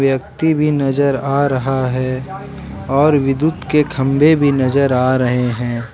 व्यक्ति भी नजर आ रहा है और विद्युत के खंभे भी नजर आ रहे हैं।